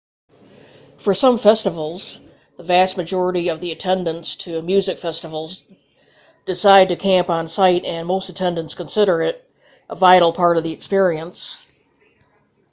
for some festivals the vast majority of the attendants to music festivals decide to camp on site and most attendants consider it a vital part of the experience